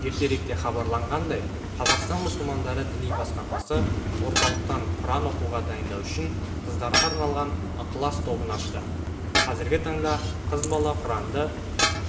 ертеректе хабарланғандай қазақстан мұсылмандары діни басқармасы орталықтан құран оқуға дайындау үшін қыздарға арналған ықылас тобын ашты қазіргі таңда қыз бала құранды